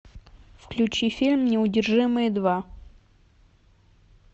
включи фильм неудержимые два